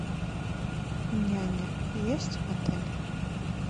няня есть в отеле